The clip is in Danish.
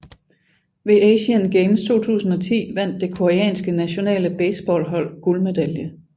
Ved Asian Games 2010 vandt det koreanske nationale baseballhold guldmedalje